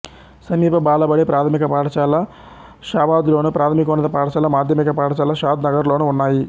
సమీప బాలబడి ప్రాథమిక పాఠశాల షాబాద్లోను ప్రాథమికోన్నత పాఠశాల మాధ్యమిక పాఠశాల షాద్ నగర్లోనూ ఉన్నాయి